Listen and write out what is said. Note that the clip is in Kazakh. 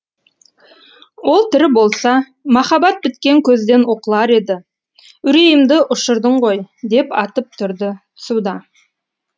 ол тірі болса махаббат біткен көзден оқылар еді үрейімді ұшырдың ғой деп атып тұрды цуда